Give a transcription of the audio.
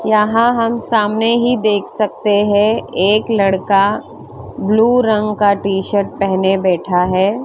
यहां हम सामने ही देख सकते हैं एक लड़का ब्लू रंग का टी शर्ट पहने बैठा है।